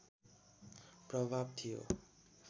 प्रभाव थियो